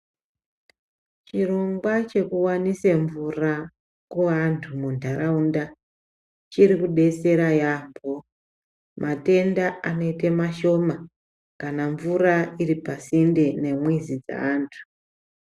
Chirongwa chekuwanise mvura kuwantu mundarawunda chirikubetsera yamo. Matenda anoyite mashoma kana mvura iripasinde nemwezi dzantu.